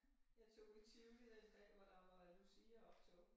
Jeg tog i Tivoli den dag hvor der var øh luciaoptog